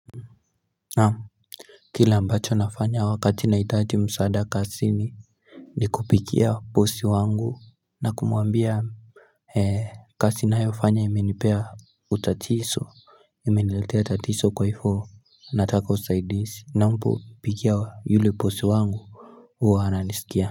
Naam Kile ambacho nafanya wakati naitaji msaada kasi ni ni kupikia posi wangu na kumuambia Hei kasi nayofanya imenipea utatiso Imeniletia tatiso kwa ifo Nataka usaidisi na mpo pikia yule posi wangu Uwa hana nisikia.